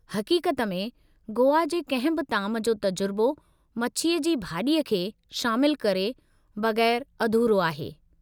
हक़ीक़त में, गोवा जे कंहिं बि ताम जो तजुर्बो मछीअ जी भाॼीअ खे शामिलु करे बगै़रु अधूरो आहे।